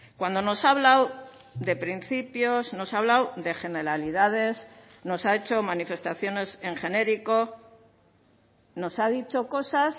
cuando nos ha hablado de principios nos ha hablado de generalidades nos ha hecho manifestaciones en genérico nos ha dicho cosas